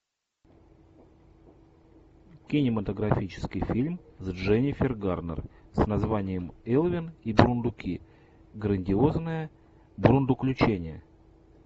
кинематографический фильм с дженнифер гарнер с названием элвин и бурундуки грандиозное бурундуключение